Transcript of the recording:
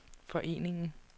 foreningen